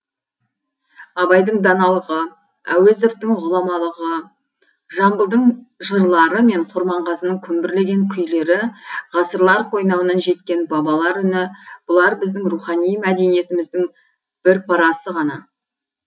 абайдың даналығы әуезовтың ғұламалығы жамбылдың жырлары мен құрманғазының күмбірлеген күйлері ғасырлар қойнауынан жеткен бабалар үні бұлар біздің рухани мәдениетіміздің бір парасы ғана